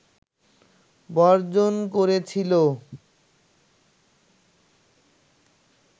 বর্জন করেছিল